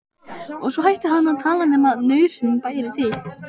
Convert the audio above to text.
Og svo hætti hann að tala nema nauðsyn bæri til.